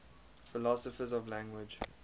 philosophers of language